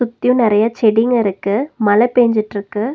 சுத்தியு நெறைய செடிங்கருக்கு மழ பேஞ்சுட்டுருக்கு.